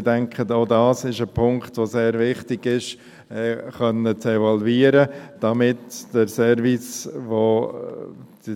– Ich denke, es ist sehr wichtig, auch diesen Punkt evaluieren zu können, damit der Service, den